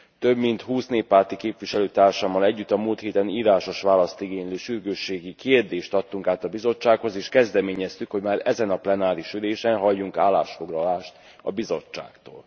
Több mint 20 néppárti képviselőtársammal együtt a múlt héten írásos választ igénylő sürgősségi kérdést adtunk át a Bizottsághoz, és kezdeményeztük, hogy már ezen a plenáris ülésen halljunk állásfoglalást a Bizottságtól.